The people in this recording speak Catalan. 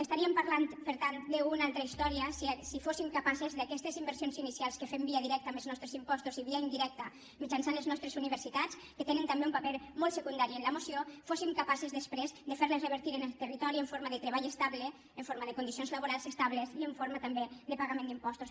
parlaríem per tant d’una altra història si aquestes inversions inicials que fem via directa amb els nostres impostos i via indirecta mitjançant les nostres universitats que tenen també un paper molt secundari en la moció fóssim capaces després de fer les revertir en el territori en forma de treball estable en forma de condicions laborals estables i en forma també de pagament d’impostos